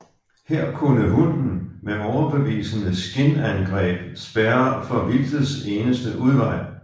Her kunne hunden med overbevisende skinangreb spærre for vildtets eneste udvej